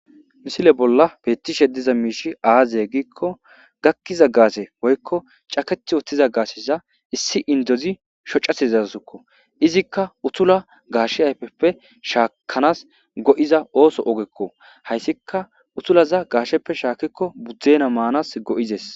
misile bolla beettishe diza miishi aazye giikko gakkiza gaase woykko caket woththiza gaasheza issi indozi shocatizazsukko izikka utula gaashe ayfeppe shaakanas go7iza ooso ogekko hayssika utulaza gaasheppe shaakikko budzdena maanas go7izes